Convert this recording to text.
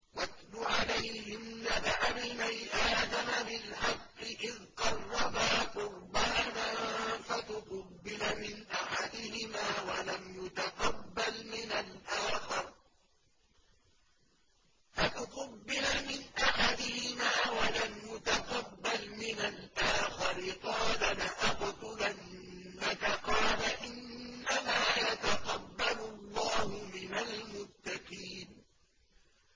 ۞ وَاتْلُ عَلَيْهِمْ نَبَأَ ابْنَيْ آدَمَ بِالْحَقِّ إِذْ قَرَّبَا قُرْبَانًا فَتُقُبِّلَ مِنْ أَحَدِهِمَا وَلَمْ يُتَقَبَّلْ مِنَ الْآخَرِ قَالَ لَأَقْتُلَنَّكَ ۖ قَالَ إِنَّمَا يَتَقَبَّلُ اللَّهُ مِنَ الْمُتَّقِينَ